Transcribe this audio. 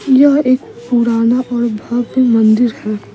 यह एक पुराना और भव्य मंदिर है।